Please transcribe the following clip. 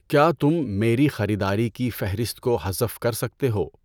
کیا تم میری خریداری کی فہرست کو حذف کر سکتے ہو؟